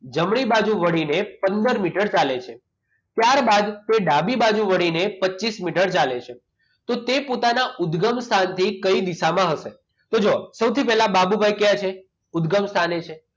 જમણી બાજુ વળીને પંદર મીટર ચાલે છે. ત્યારબાદ તે ડાબી બાજુ વળીને પચીસ મીટર ચાલે છે. તો તે પોતાના ઉદગમ સ્થાનથી કઈ દિશામાં હશે? તો જુઓ સૌથી પહેલા બાબુભાઈ ક્યાં છે ઉદગમ સ્થાને છે.